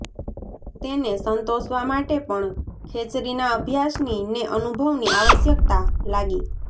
તેને સંતોષવા માટે પણ ખેચરીના અભ્યાસની ને અનુભવની આવશ્યકતા લાગી